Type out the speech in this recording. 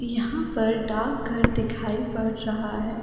यहां पर डाक घर दिखाई पड़ रहा है।